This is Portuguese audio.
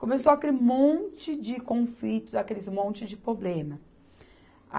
Começou aquele monte de conflitos, aqueles monte de problema.